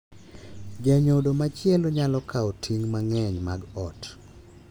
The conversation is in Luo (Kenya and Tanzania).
Janyodo machielo nyalo kawo ting’ mang’eny mag ot,